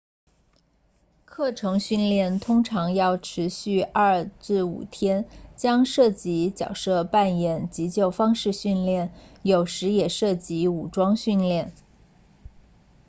课程训练通常要持续 2-5 天将涉及角色扮演急救方式训练有时也涉及武装训练